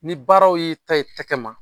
Ni baaraw y'i ta i tɛgɛ ma